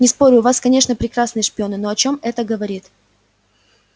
не спорю у вас конечно прекрасные шпионы но о чём это говорит